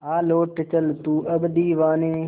आ लौट चल तू अब दीवाने